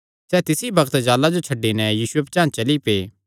सैह़ तिसी बग्त जाल़ां जो छड्डी नैं यीशुये पचांह़ चली पै